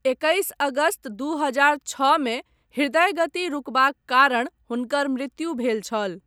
एकैस अगस्त दू हजार छओ मे हृदय गति रुकबाक कारण हुनकर मृत्यु भेल छल।